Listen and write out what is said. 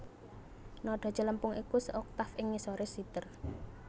Nada celempung iku seoktaf ing ngisore siter